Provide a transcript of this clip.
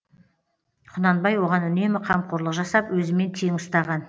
құнанбай оған үнемі қамқорлық жасап өзімен тең ұстаған